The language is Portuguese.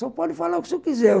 Só pode falar o que o senhor quiser.